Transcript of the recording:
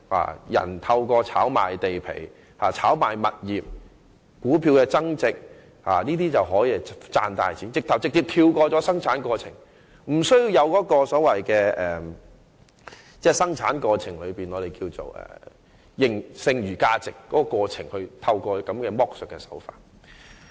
有人可透過炒賣地皮、物業或股票而賺大錢，此舉更可直接跳過生產過程，無須透過生產過程中的剩餘價值進行剝削。